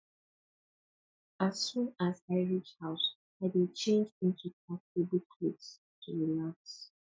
as soon as i reach house i dey change into comfortable clothes to relax